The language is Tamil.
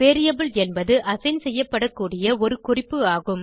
வேரியபிள் என்பது அசைன் செய்யப்படக்கூடிய ஒரு குறிப்பு ஆகும்